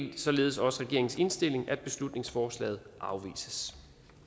er således også regeringens indstilling at beslutningsforslaget afvises